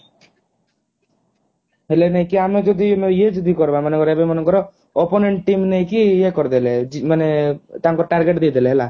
ହେଲେ ନେଇ କି ଆମେ ଯଦି ଇଏ ଯଦି କରିବା ମନେ କର ଏବେ ମନେ କର opponent team ନେଇକି ଇଏ କରିଦେଲେ ମାନେ ତାଙ୍କ target ଦେଇ ଦେଲେ ହେଲା